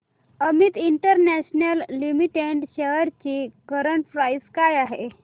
Amit International Limited shares ची current price काय आहे